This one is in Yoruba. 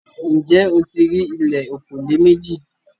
Ǹjẹ́ o ti rí ìlẹ̀ òkòlé mẹjì?